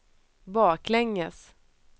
baklänges